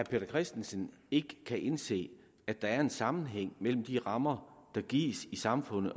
peter christensen ikke kan indse at der er en sammenhæng mellem de rammer der gives i samfundet